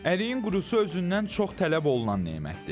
Əriyin qurusu özündən çox tələb olunan nemətdir.